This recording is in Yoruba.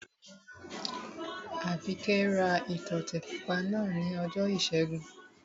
Àbíkẹ́ ra ìtọ́tè pupa náà ní ọjọ́ ìṣẹ́gun